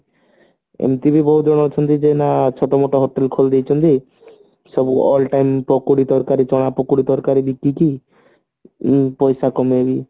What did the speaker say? ଏମତି ବି ବହୁତ ଜଣ ଯୋଉ ନା ଛୋଟ ମୋଟ hotel ଖୋଲିଦେଇଛନ୍ତି ସେ all time ପକୁଡି ତରକାରୀ ଚାହା ପକୁଡି ତରକାରୀ ବିକିକି ପଇସା କମୋଉ